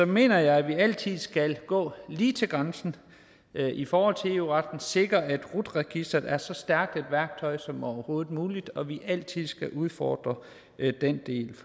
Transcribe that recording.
mener jeg at vi altid skal gå lige til grænsen i forhold til eu retten og sikre at rut registeret er så stærkt et værktøj som overhovedet muligt og at vi altid skal udfordre den del